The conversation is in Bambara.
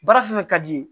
Baara fɛn fɛn ka d'i ye